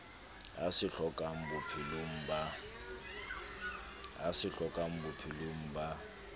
a se hlokang bophelong ba